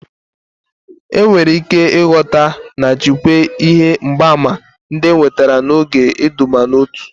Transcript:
Enwere ike ịghọta na jikwaa ihe mgbaàmà ndị enwetara n'oge iduban'otu.